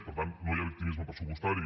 per tant no hi ha victimisme pressupostari